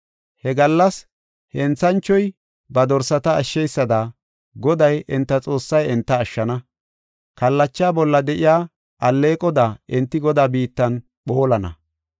He gallas henthanchoy ba dorsata ashsheysada Goday enta Xoossay enta ashshana. Kallacha bolla de7iya alleeqoda enti Godaa biittan phoolana.